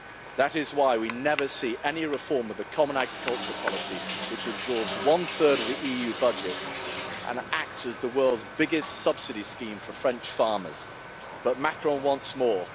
That is why we never see any reform of the Common Agricultural Policy, which absorbs one third of the EU budget and acts as the world's biggest subsidy scheme for French farmers. But Macron wants more.